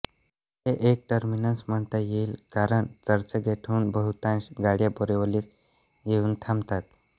हे एक टर्मिनस म्हणता येईल कारण चर्चगेटहून बहूतांश गाड्या बोरीवलीस येऊन थांबतात